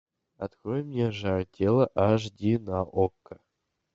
открой мне жар тела аш ди на окко